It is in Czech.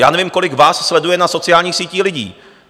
Já nevím, kolik vás sleduje na sociálních sítí lidí.